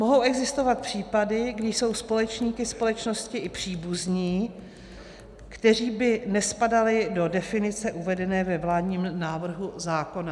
Mohou existovat případy, kdy jsou společníky společnosti i příbuzní, kteří by nespadali do definice uvedené ve vládním návrhu zákona.